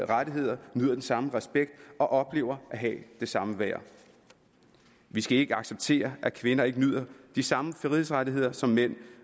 rettigheder nyder den samme respekt og oplever at have det samme værd vi skal ikke acceptere at kvinder ikke nyder de samme frihedsrettigheder som mænd